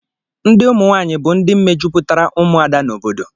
Ndị ụmụnwaanyị bụ ndị mejupụtara ụmụada n'obodo